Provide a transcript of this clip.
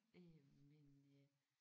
Øh men øh